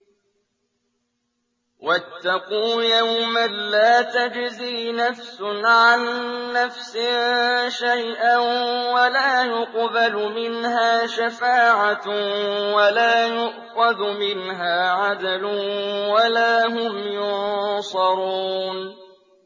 وَاتَّقُوا يَوْمًا لَّا تَجْزِي نَفْسٌ عَن نَّفْسٍ شَيْئًا وَلَا يُقْبَلُ مِنْهَا شَفَاعَةٌ وَلَا يُؤْخَذُ مِنْهَا عَدْلٌ وَلَا هُمْ يُنصَرُونَ